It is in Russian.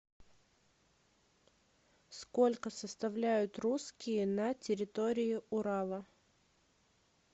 сколько составляют русские на территории урала